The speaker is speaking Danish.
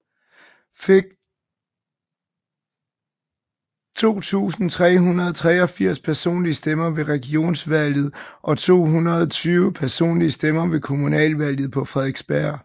Fik 2383 personlige stemmer ved Regionsvalget og 220 personlige stemmer ved kommunalvalget på Frederiksberg